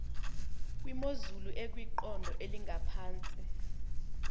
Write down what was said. kwimozulu ekwiqondo elingaphantsi